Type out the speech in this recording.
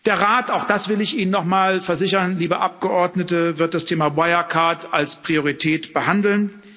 Der Rat, auch das will ich Ihnen noch mal versichern, liebe Abgeordnete, wird das Thema Wirecard als Priorität behandeln.